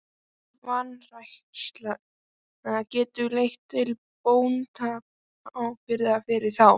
Slík vanræksla getur leitt til bótaábyrgðar fyrir þá.